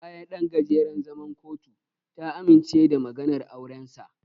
Bayan ɗan gajeren zaman kotu, ta amince da maganar aurensa.